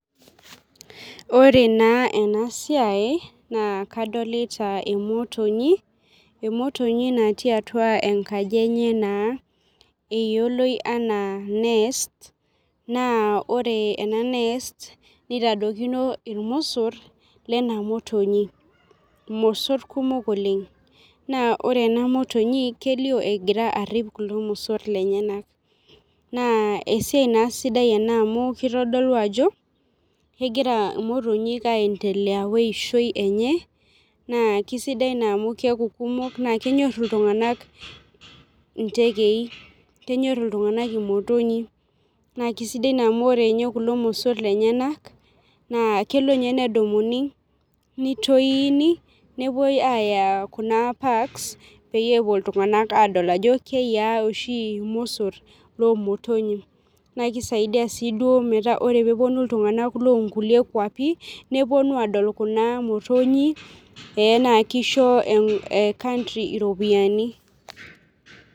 Ore naa ena siai naa kadolita emotonyi, emotonyi natii atua enkaaji enye naa eiyelooi ena nest naa ore ena nest neitadokini elmosoor lena motonyi mosoor kumook oleng. Naa ore ena motonyi keiloo egiraa ariip kulo mosoor lenyanak. Naa esia naa sidai ana amu keitodolu ajoo kegira motonyu aendelea oishoo enye. Naa kesidai naa amu keaku kumook naa kenyoor ltung'anak tekeii. Keenyor ltung'anak motonyii naa kesidai amu ore ninye kuloo mosoor lenyanak na keloo ninye nedumunyi neitoini nepoo ayaa kuna packs pee epoo ltung'anak adol ajoo keiyau sii mosoor lo motonyi. Naa keisaidia sii doo metaa kore pee eponuu ltung'anak le nkulee nkaapi neponuu adol kuna motonyi eeh keishoo ecountry ropiani.